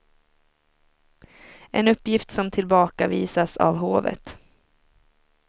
En uppgift som tillbakavisas av hovet.